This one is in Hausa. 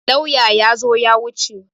Lauyan ya zo ya wuce.